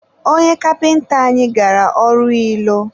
onye kapịnta anyị gara ọrụ ilo.